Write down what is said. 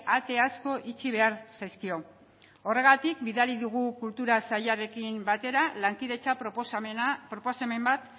ate asko itxi behar zaizkio horregatik bidali dugu kultura sailarekin batera lankidetza proposamen bat